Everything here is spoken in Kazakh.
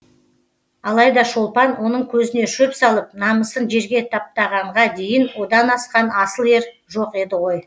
алайда шолпан оның көзіне шөп салып намысын жерге таптағанға дейін одан асқан асыл ер жоқ еді ғой